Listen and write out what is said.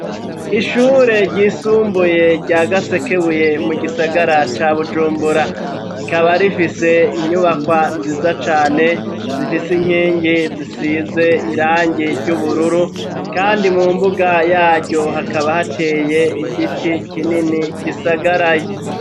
Ishure ryisumbuye, rya Gasekebuye, mu gisagara ca Bujumbura; rikaba rifise, inyubakwa nziza cane, zifise inkingi, zisize irangi ry'ubururu; kandi mu mbuga yaryo, hakaba hateye igiti, kinini gisagaraye.